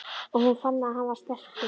Og hún fann að hann var sterkur.